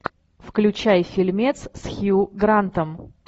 включай фильмец с хью грантом